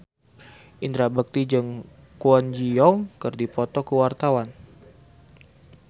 Indra Bekti jeung Kwon Ji Yong keur dipoto ku wartawan